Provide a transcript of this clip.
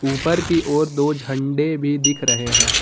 ऊपर की ओर दो झंडे भी दिख रहे हैं।